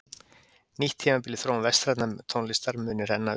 Nýtt tímabil í þróun vestrænnar tónlistar muni renna upp.